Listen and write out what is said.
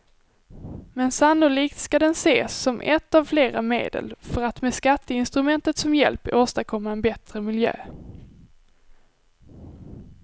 Men sannolikt skall den ses som ett av flera medel för att med skatteinstrumentet som hjälp åstadkomma en bättre miljö.